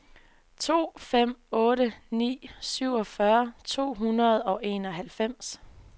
to fem otte ni syvogfyrre to hundrede og enoghalvfems